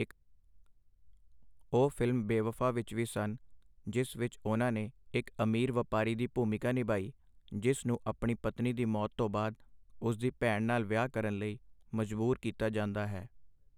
ਉਹ ਫ਼ਿਲਮ ਬੇਵਫ਼ਾ ਵਿੱਚ ਵੀ ਸਨ, ਜਿਸ ਵਿੱਚ ਉਹਨਾਂ ਨੇ ਇੱਕ ਅਮੀਰ ਵਪਾਰੀ ਦੀ ਭੂਮਿਕਾ ਨਿਭਾਈ ਜਿਸ ਨੂੰ ਆਪਣੀ ਪਤਨੀ ਦੀ ਮੌਤ ਤੋਂ ਬਾਅਦ, ਉਸ ਦੀ ਭੈਣ ਨਾਲ ਵਿਆਹ ਕਰਨ ਲਈ ਮਜਬੂਰ ਕੀਤਾ ਜਾਂਦਾ ਹੈ।